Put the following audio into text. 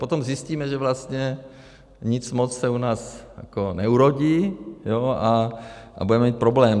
Potom zjistíme, že vlastně nic moc se u nás neurodí, a budeme mít problém.